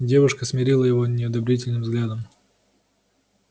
девушка смерила его неодобрительным взглядом